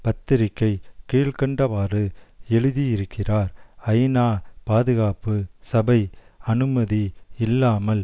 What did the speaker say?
பத்திரிக்கை கீழ்கண்டவாறு எழுதியிருக்கிறார் ஐநா பாதுகாப்பு சபை அனுமதி இல்லாமல்